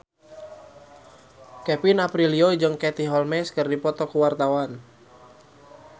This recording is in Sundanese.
Kevin Aprilio jeung Katie Holmes keur dipoto ku wartawan